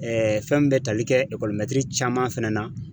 fɛn min bɛ tali kɛ caman fana na.